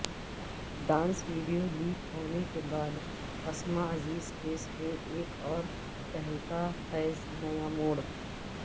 dance video leak ہونے کے بعد اسما عزیز کیس میں ایک اور تہلکہ خیز نیاموڑ